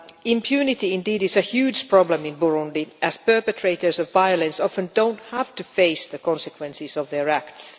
Impunity indeed is a huge problem in Burundi, as perpetrators of violence often do not have to face the consequences of their acts.